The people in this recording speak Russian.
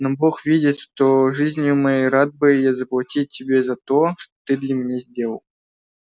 но бог видит что жизнию моей рад бы я заплатить тебе за то что ты для меня сделал